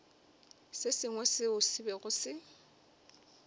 sengwe seo se bego se